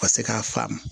Ka se k'a faamu